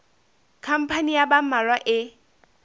khampani ya ba mmalwa e